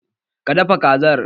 Ka dafa Kazar?